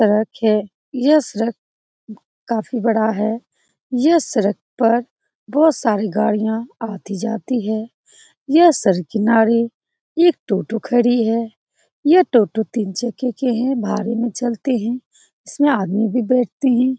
यह सड़क है। यह सड़क काफी बड़ा है। यह सड़क पर बोहोत सारी गाड़ियां आती-जाती है। यह सड़क के किनारे एक ऑटो खड़ी है। यह टोटो तिनसों भाड़े में चलते हैं इसमें आदमी भी बैठते हैं।